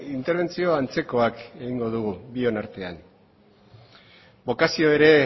interbentzio antzekoak egingo ditugu bion artean bokazio